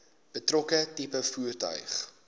betrokke tipe voertuig